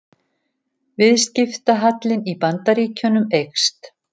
Viðskiptahallinn í Bandaríkjunum eykst